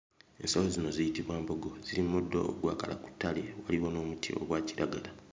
Ensolo zino ziyitibwa mbogo. Ziri mu muddo ogwakala ku ttale okuliraana omuti ogwa kiragala.